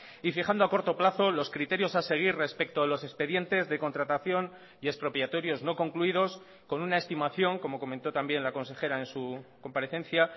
y fijando a corto plazo los criterios a seguir respecto a los expedientes de contratación y expropiatorios no concluidos con una estimación como comentó también la consejera en su comparecencia